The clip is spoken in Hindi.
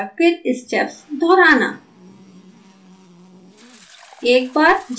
और एक बार फिर स्टेप्स दोहराना